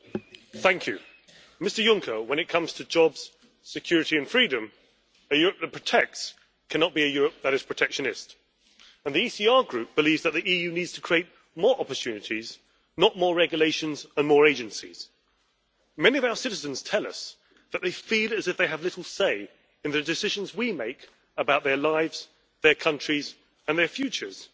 Mr President, I would like to say to Mr Juncker that when it comes to jobs, security and freedom, a Europe that protects cannot be a Europe that is protectionist. The ECR Group believes that the EU needs to create more opportunities, not more regulations and more agencies. Many of our citizens tell us that they feel as if they have little say in the decisions we make about their lives, their countries and their futures.